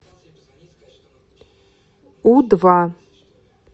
у два